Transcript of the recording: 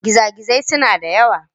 Gizagizai suna da yawa.